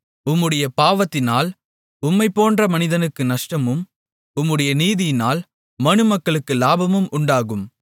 உம்முடைய பாவத்தினால் உம்மைப்போன்ற மனிதனுக்கு நஷ்டமும் உம்முடைய நீதியினால் மனுமக்களுக்கு லாபமும் உண்டாகும்